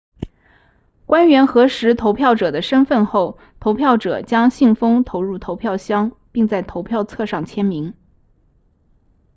官员核实投票者的身份后投票者将信封投入投票箱并在投票册上签名